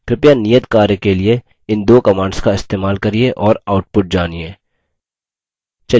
कृपया नियत कार्य के लिए इन दो commands का इस्तेमाल करिये और output जानिए